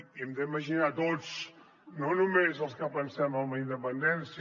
i hem d’imaginar tots no només els que pensem en la independència